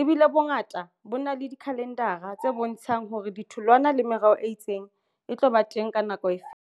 ebile bongata bo na le dikhalendara tse bontshang hore ditholwana le meroho e itseng e tlo ba teng ka nako e feng.